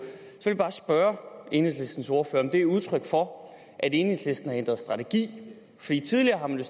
jeg vil bare spørge enhedslistens ordfører om det er udtryk for at enhedslisten har ændret strategi tidligere har man